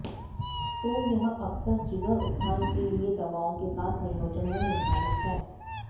तो यह अक्सर जिगर उत्थान के लिए दवाओं के साथ संयोजन में निर्धारित है